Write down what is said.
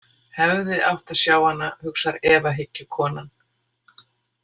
Hefði átt að sjá hana, hugsar efahyggjukonan.